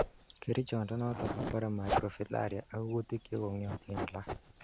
Kerichondoniton kobore microfilaria ak ng'utik chekong'iotin alak.